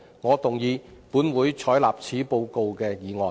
我動議"本會採納此報告"的議案。